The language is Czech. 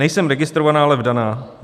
Nejsem registrovaná, ale vdaná.